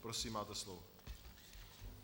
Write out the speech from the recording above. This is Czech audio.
Prosím, máte slovo.